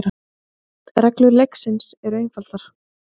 Reglur leiksins eru einfaldar.